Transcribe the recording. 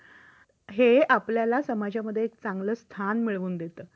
अनुभवातून ठरवले जाते idv insusenace declared value त्रितिय पक्षदायित्व हफ्त्याचेदर ird यांनी ठरवून दिलेले आहेत